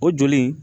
O joli in